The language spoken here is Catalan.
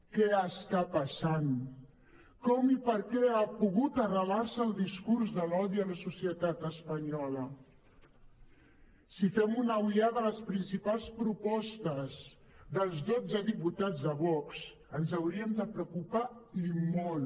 què està passant com i per què ha pogut arrelar se el discurs de l’odi a la societat espanyola si fem una ullada a les principals propostes dels dotze diputats de vox ens hauríem de preocupar i molt